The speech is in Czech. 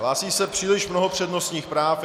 Hlásí se příliš mnoho přednostních práv.